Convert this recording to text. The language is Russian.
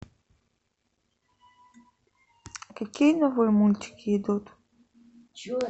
какие новые мультики идут